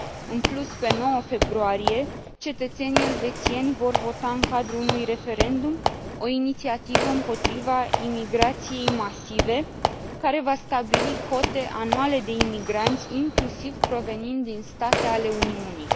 În plus, pe 9 februarie, cetățenii elvețieni vor vota în cadrul unui referendum o inițiativă împotriva imigrației masive, care va stabili cote anuale de imigranți, inclusiv provenind din state ale Uniunii.